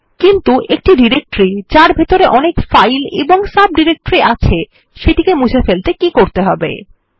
কিন্তু একটি ডিরেক্টরি যার ভেতরে অনেক ফাইল এবং সাবডিরেক্টরি আছে সেটিকে মুছে ফেলতে কী করতে হবে160